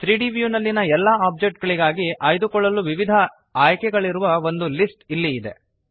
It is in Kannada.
3ದ್ ವ್ಯೂ ನಲ್ಲಿಯ ಎಲ್ಲ ಒಬ್ಜೆಕ್ಟ್ ಗಳಿಗಾಗಿ ಆಯ್ದುಕೊಳ್ಳಲು ವಿವಿಧ ಆಯ್ಕೆಗಳಿರುವ ಒಂದು ಲಿಸ್ಟ್ ಇಲ್ಲಿ ಇದೆ